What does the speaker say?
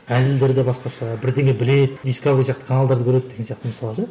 әзілдері де басқаша бірдеңе біледі дисковери сияқты каналдарды көреді деген сияқты мысалы ше